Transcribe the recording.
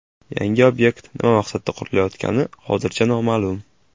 Yangi obyekt nima maqsadda qurilayotgani hozircha noma’lum.